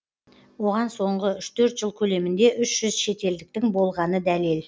оған соңғы үш төрт жыл көлемінде үш жүз шетелдіктің болғаны дәлел